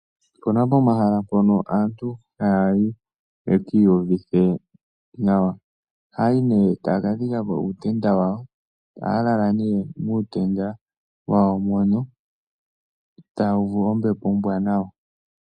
Opu na omahala mpono aantu haya yi ye ki iyuvithe nawa. Ohaya yi nee taya ka dhika po uutenda wawo. Ohaya lala nee muutenda wawo mono taya uvu ombepo ombwaanawa.